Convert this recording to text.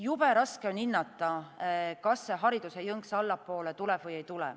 Jube raske on hinnata, kas jõnks hariduses allapoole tuleb või ei tule.